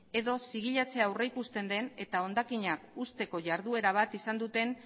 edo zigilatzea aurrikusten den eta hondakina uzteko jarduera bat izan duten